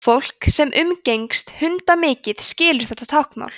fólk sem umgengst hunda mikið skilur þetta táknmál